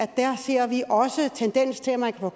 der ser vi også en tendens til at man kan